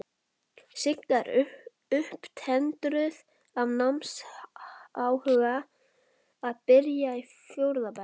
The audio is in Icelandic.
Sigga er upptendruð af námsáhuga, að byrja í fjórða bekk.